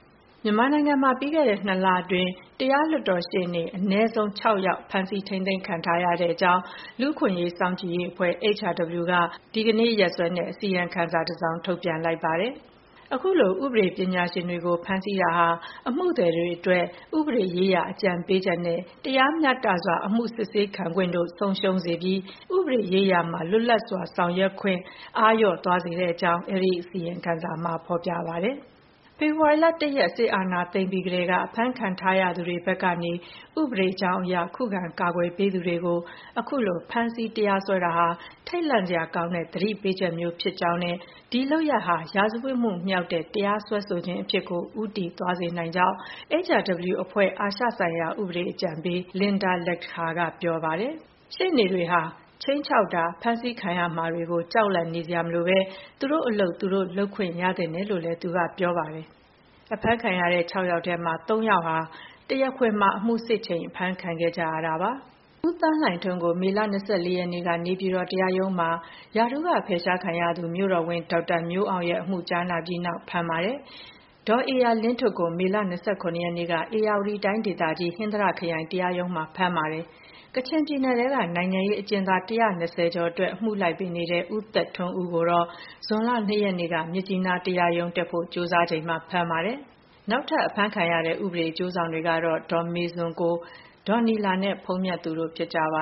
မြန်မာနိုင်ငံမှာ ပြီးခဲ့တဲ့ ၂ လအတွင်း တရားလွှတ်တော်ရှေ့နေ အနည်းဆုံး ၆ ယောက်ကို ဖမ်းဆီး ထိန်းသိမ်းထားကြောင်း လူ့အခွင့်အရေး စောင့်ကြည့်ရေးအဖွဲ့ HRW က ဇူလိုင်လ ၂ ရက်၊ ဒီကနေ့ ရက်စွဲနဲ့ အစီရင်ခံစာ တစောင် ထုတ်ပြန် လိုက်ပါတယ်။ အခုလို ဥပဒေပညာရှင်တွေကိုဖမ်းဆီးတာဟာ အမှုသည်တွေအတွက်ဥပဒေရေးရာအကြံပေးချက်နဲ့ တရားမျှတစွာ အမှုစစ်ဆေးခံခွင့်တို့ ဆုံးရှုံးသွားစေပြီး ဥပဒေရေးရာမှာ လွတ်လပ်စွာဆောင်ရွက်ခွင့်ကို အားလျော့သွားစေကြောင်း အဲဒီအစီရင်ခံစာမှာ ဖော်ပြထားပါတယ်။ “ဖေဖေါ်ဝါရီလ ၁ ရက်၊ စစ်အာဏာသိမ်းပြီးကတည်းက အဖမ်းခံထားရသူတွေဘက်က ဥပဒေကြောင်းအရ ခုခံကာကွယ် ပေးသူတွေကို ဖမ်းဆီး တရားစွဲတာဟာ ထိတ်လန့်စရာကောင်းတဲ့ သတိပေးချက်မျိုးဖြစ်တဲ့အကြောင်းနဲ့ ဒီလုပ်ရပ်ဟာ ရာဇဝတ်မှုမြောက်တဲ့ တရားစွဲဆိုခြင်းအဖြစ်ကို ဦးတည်သွားစေနိုင်ကြောင်း HRW အဖွဲ့ရဲ့ အာရှဆိုင်ရာ ဥပဒေအကြံပေး Linda Lakhdhir က ပြောပါတယ်။ ရှေ့နေတွေဟာ ခြိမ်းခြောက်တာ၊ အဖမ်းဆီးခံရမှာတွေကို ကြောက်လန့်နေစရာမလိုဘဲ သူတို့အလုပ်သူတို့လုပ်ခွင့်ရသင့်တယ်လို့လည်း သူက ပြောပါတယ်။ အဖမ်းခံရတဲ့ ၆ ယောက်ထဲမှာ ၃ ယောက်ဟာ တရားခွင်မှာ အမှုစစ်နေချိန် အဖမ်းခံခဲ့ကြရတာဖြစ်ပါတယ်။ ဦးသိန်းလှိုင်ထွန်း ကို မေလ ၂၄ ရက်နေ့က နေပြည်တော်တရားရုံးမှာ ရာထူးကဖယ်ရှားခံရသူ မြို့တော်ဝန် ဒေါက်တာ မျိုးအောင်ရဲ့အမှုကြားနာပြီးနောက် ဖမ်းပါတယ်။ ဒေါ်ဧရာလင်းထွဋ်ကို မေလ ၂၇ ရက်နေ့က ဧရာဝတီတိုင်းဒေသကြီး၊ ဟင်္သာတခရိုင်တရားရုံးမှာ ဖမ်းပါတယ်။ ကချင်ပြည်နယ်ထဲက နိုင်ငံရေးအကျဉ်းသား ၁၂၀ ကျော်အတွက် အမှုလိုက်ပေးနေတဲ့ ဦးသက်ထွန်းဦးကို ဇွန်လ ၂ ရက်နေ့က မြစ်ကြီးနားတရားရုံး တက်ဖို့ ကြိုးစားချိန်မှာ ဖမ်းပါတယ်။ နောက်ထပ် အဖမ်းခံရတဲ့ ဥပဒေအကျိုးဆောင်တွေကတော့ ဒေါ်မေဇွန်ကို၊ ဒေါ်နီလာနဲ့ ဘုန်းမြတ်သူတို့ ဖြစ်ကြပ